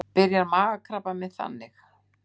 Byrjar magakrabbamein þannig?